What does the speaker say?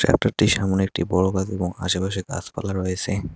ট্রাক্টরটির সামোনে একটি বড় গাড়ি রাখা এবং আশেপাশে গাছপালা রয়েছে।